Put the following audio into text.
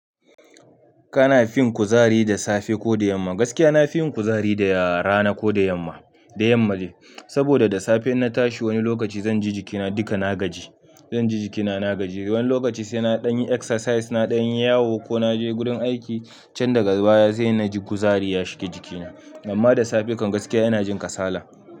Kana fin kuzari da safe ko da yamma? Gaskiya na fi yin kuzari da rana ko da yamma, da yamma ne. Saboda da safe na tashi wani lokaci zan ji jikina duka na gaji, zan ji jikina na gaji. Wani lokaci sai na ɗan yi exercise, na ɗan yi yawo ko na je gurin aiki can daga baya sai na ji kuzari ya shiga jikina. Amma da safe kan gaskiya ina jin kasala.